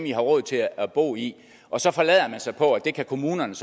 i har råd til at bo i og så forlader man sig på at det kan kommunerne